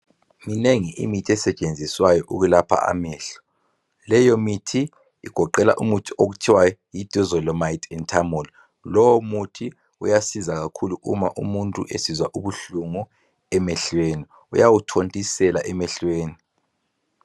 Minengi imithi esetshenziswayo ukulapha amehlo. Leyo mithi igoqela umuthi okuthiwa yi Dorzolamide andTimolol. Lowo muthi uyasiza kakhulu uma umuntu esizwa ubuhlungu emehlweni. Uyawuthontisela emehlweni .